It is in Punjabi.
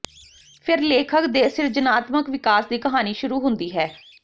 ਫਿਰ ਲੇਖਕ ਦੇ ਸਿਰਜਣਾਤਮਕ ਵਿਕਾਸ ਦੀ ਕਹਾਣੀ ਸ਼ੁਰੂ ਹੁੰਦੀ ਹੈ